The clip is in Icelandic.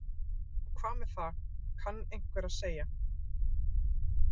Og hvað með það kann einhver að segja.